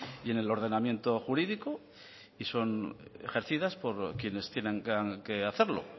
y en el ordenamiento jurídico y son ejercidas por quienes tienen que hacerlo